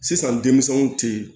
Sisan denmisɛnw tɛ